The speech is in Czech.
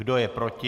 Kdo je proti?